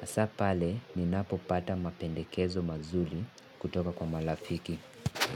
Hasa pale ninapopata mapendekezo mazuri kutoka kwa marafiki.